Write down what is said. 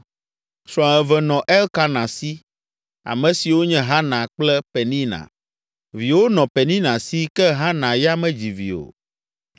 Srɔ̃ eve nɔ Elkana si, ame siwo nye Hana kple Penina. Viwo nɔ Penina si ke Hana ya medzi vi o.